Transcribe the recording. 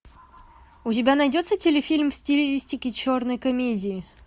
у тебя найдется телефильм в стилистике черной комедии